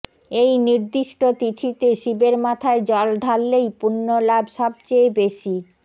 এই নির্দিষ্ট তিথিতে শিবের মাথায় জল ঢাললেই পুণ্যলাভ সবচেয়ে বেশি